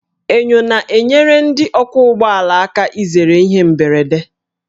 Enyo na-enyere ndị ọkwọ ụgbọala aka izere ihe mberede